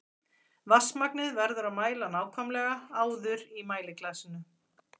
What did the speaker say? Vatnsmagnið verður að mæla nákvæmlega áður í mæliglasinu.